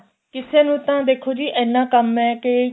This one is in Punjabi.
ਕਿਸੇ ਨੂੰ ਤਾਂ ਦੇਖੋ ਜੀ ਇੰਨਾ ਕੰਮ ਏ ਕੇ